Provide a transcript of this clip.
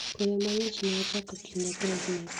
Koyo mang'ich ne ochako kinde krismas.